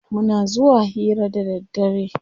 Muna zuwa hira da daddare.